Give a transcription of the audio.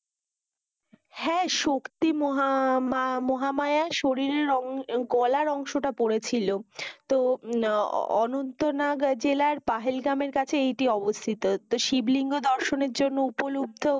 হ্যাঁ, শক্তি মহামায়ার শরীরের গলার অংশটা পড়েছিল। তো অনন্তনাগ জেলার পাহাড়ি গ্রামের কাছে এটি অবস্থিত। তো শিবলিঙ্গ দর্শনের জন্য উপলব্ধ